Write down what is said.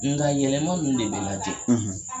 Nga yɛlɛma nun de bi lajɛ